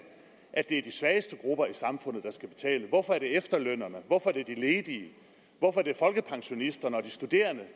at det er de svageste grupper i samfundet der skal betale hvorfor er det efterlønnerne hvorfor er det de ledige hvorfor er det folkepensionisterne og de studerende